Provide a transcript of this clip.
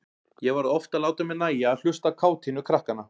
Ég varð oft að láta mér nægja að hlusta á kátínu krakkanna.